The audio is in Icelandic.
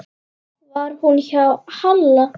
Var hún hjá Halla?